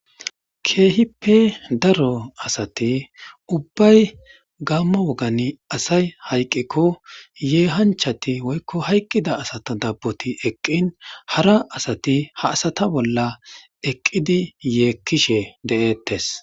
keehippe daro asati ubbay gamma wogani asay hayqqikko yeehanchati woykko hayqqida asato dabboti eqqin hara asati ha asata bolla eqqidi yeekkishe de7ettes